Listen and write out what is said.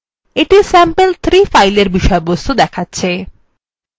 এটি sample3 ফাইলের বিষয়বস্তু